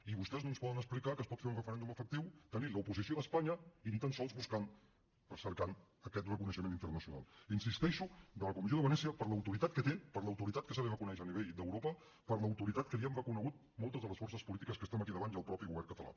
i vostès no ens poden explicar que es pot fer un referèndum efectiu tenint l’oposició d’espanya i ni tan sols cercant aquest reconeixement internacional hi insisteixo de la comissió de venècia per l’autoritat que té per l’autoritat que se li reconeix a nivell d’europa per l’autoritat que li hem reconegut moltes de les forces polítiques que estem aquí al davant i el mateix govern català